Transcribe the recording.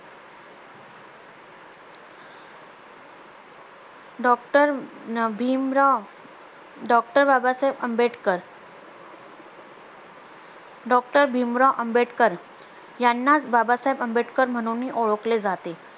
doctor Bhimrao doctor Babasaheb Ambedkar doctor Bhimrao Ambedkar यांनाच बाबासाहेब आंबेडकर म्हणूनही ओळखले जाते